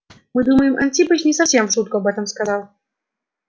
мы думаем антипыч не совсем в шутку об этом сказал